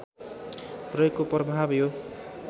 प्रयोगको प्रभाव यो